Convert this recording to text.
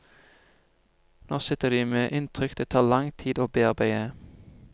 Nå sitter de med inntrykk det tar lang tid å bearbeide.